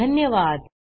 सहभागासाठी धन्यवाद